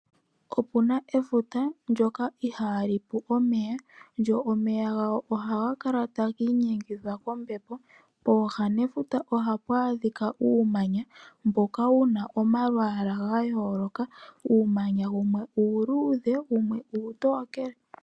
Opu na efuta, ndyoka ihali pu omeya, go omeya galyo ohaga kala tagi inyengithwa kombepo. Pooha nefuta ohapu adhika uumanya, mboka wuna omalwaala gayooloka. Uumanya wumwe uuluudhe, nowumwe uutookele.